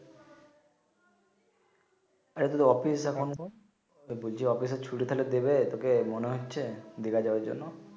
এটা অফিস অনে কো বলছি অফিস এর ছুটি তাইলে দিবে তোকে মনে হচ্ছে দিঘা যাবার জন্য